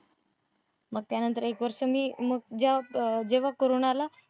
मग त्यानंतर एक वर्ष मी मग अं जेव्हा कोरोना आला,